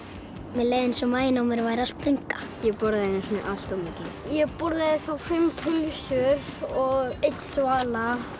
mér leið eins og maginn á mér væri að springa ég borðaði einu sinni allt of mikið ég borðaði þá fimm pylsur og einn svala